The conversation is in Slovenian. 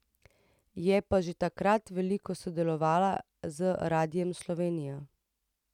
Je pa že takrat veliko sodelovala z Radiem Slovenija.